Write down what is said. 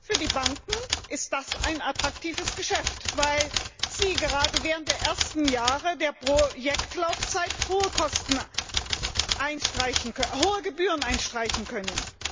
Für die Banken ist das ein attraktives Geschäft, weil sie gerade während der ersten Jahre der Projektlaufzeit hohe Gebühren einstreichen können.